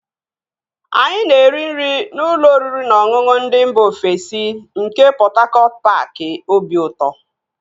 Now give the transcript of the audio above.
Anyị na-eri nri na ụlọ oriri na ọṅụṅụ ndị mba ofesi nke Pọt Hakọt paaki obiụtọ